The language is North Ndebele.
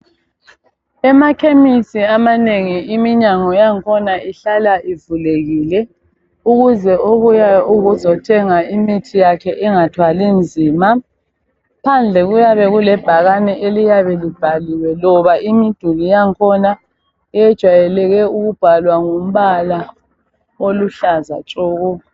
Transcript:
emakhemesi amanengi iminyango yakhona ihlala ivulekile ukuze obuyayo ukuzothenga engathwali nzima phandle kuyabe kulebhakane eliyabe libhaliwe ngoba imiduli yakhona ijwayeleke ukubhalwa ngombala oluhlaza tshoko